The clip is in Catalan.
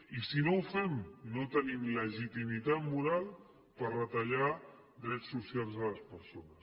i si no ho fem no tenim legitimitat moral per retallar drets socials a les persones